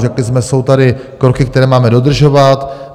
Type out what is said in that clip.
Řekli jsme, jsou tady kroky, které máme dodržovat.